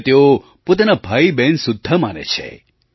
તેમને તેઓ પોતાનાં ભાઈબહેન સુદ્ધાં માને છે